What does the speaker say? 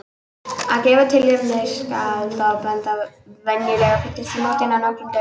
Af gefnu tilefni skal á það bent að venjulega fyllist í mótin á nokkrum dögum.